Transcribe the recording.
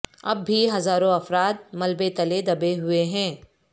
اب بھی ہزاروں افراد ملبے تلے دبے ہوئے ہیں